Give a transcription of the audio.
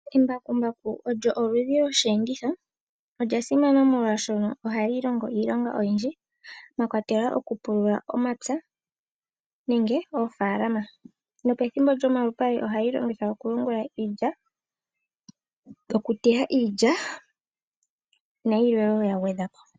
Embakumbaku olyo oludhi lwosheenditho. Olya simana molwaashono ohali longo iilonga oyindji, mwakwatelwa okupulula omapya nenge oofaalama. Pethimbo lyomalupale ohali longithwa okuyungula iilya, okuteya iilya nayilwe ya gwedhwapo.